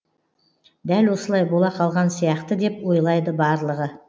дәл осылай бола қалған сияқты деп ойлайды барлығы